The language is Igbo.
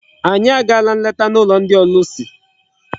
Anyị agaala nleta n'ụlọ ndị ọlụsị.